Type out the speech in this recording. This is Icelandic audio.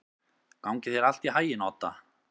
Gangi þér allt í haginn, Odda.